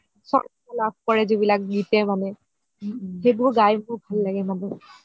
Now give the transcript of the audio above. চৰ্চ লাভ কৰে গীতে মানে সেইবোৰ গাই মোৰ ভাল লাগে মানে